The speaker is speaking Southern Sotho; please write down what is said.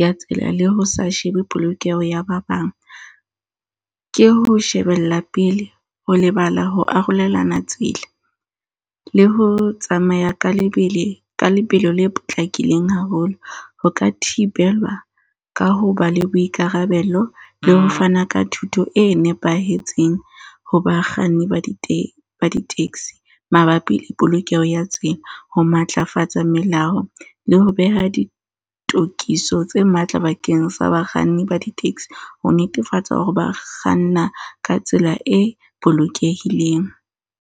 ya tsela. Le ho sa shebe polokeho ya ba bang. Ke ho shebella pele, ho lebala ho arolelana tsela. Le ho tsamaya ka lebele. Ka lebelo le potlakileng haholo. Ho ka thibelwa ka ho ba le boikarabelo le ho fana ka thuto e nepahetseng ho bakganni ba di-taxi mabapi le polokeho ya tsela. Ho matlafatsa melao le ho beha ditokiso tse matla bakeng sa bakganni ba di-taxi, ho netefatsa hore ba kganna ka tsela e bolokehileng.